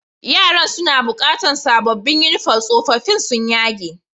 Yaran suna bukatan sabobin uniform, sofofin sun yage.